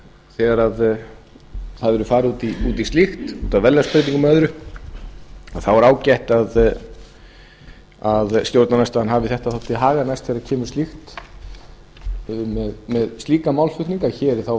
þegar verður farið út í slíkt út af verðlagsbreytingum og öðru þá er ágætt að stjórnarandstaðan haldi þessu til haga næst þegar kemur að slíkum málflutningi að hér er þá